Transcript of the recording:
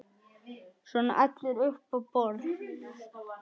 Svona allir upp á borð